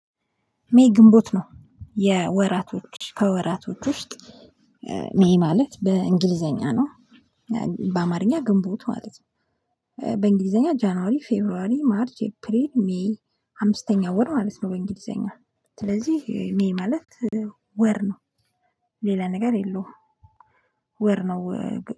ሜይ ግንቦት ነው። የወራቶች ከወራቶች ውስጥ ሜይ ማለት በእንግሊዘኛ ነው። በአማርኛ ግንቦት ማለት ነው። በእንግሊዘኛ ጃንዋሪ፣ ፌቨሪዋሪ፣ ማርች፣ ኤፕሪል፣ ሜይ አምስተኛ ወር ማለት ነው። በእንግሊዘኛ ስለዚህ ሜይ ማለት ወር ነው። ሌላ ነገር የለውም። ወር ነው።